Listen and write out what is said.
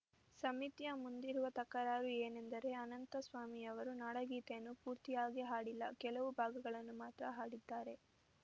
ಸಮಿತಿಯ ಮುಂದಿರುವ ತಕರಾರು ಏನೆಂದರೆ ಅನಂತಸ್ವಾಮಿಯವರು ನಾಡಗೀತೆಯನ್ನು ಪೂರ್ತಿಯಾಗಿ ಹಾಡಿಲ್ಲ ಕೆಲವು ಭಾಗಗಳನ್ನು ಮಾತ್ರ ಹಾಡಿದ್ದಾರೆ